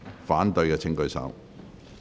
反對的請舉手。